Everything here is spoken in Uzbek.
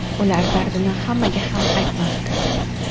Ular dardini hammaga ham aytmasdi.